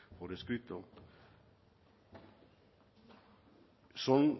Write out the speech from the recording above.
por escrito son